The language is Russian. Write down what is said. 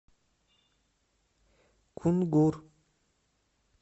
кунгур